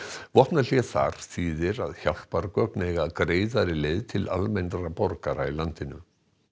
vopnahlé þar þýðir að hjálpargögn eiga greiðari leið til almennra borgara í landinu